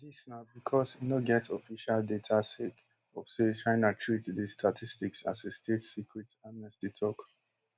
dis na becos e no get official data sake of say china treat dis statistics as a state secret amnesty tok